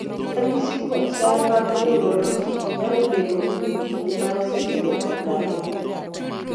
ranyisi kod chal mag Neurologic nyalo bedo kuom kinde mar seche nyaka ndalo